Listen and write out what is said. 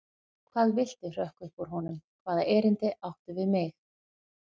Hvað viltu hrökk upp úr honum, hvaða erindi áttu við mig?